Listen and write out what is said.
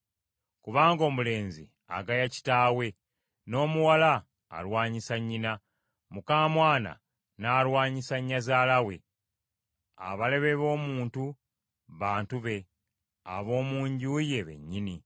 Kubanga omulenzi agaya kitaawe, n’omwana alwanyisa nnyina, muka mwana n’alwanyisa nnyazaala we. Abalabe b’omuntu, bantu be, ab’omu nju ye bennyini.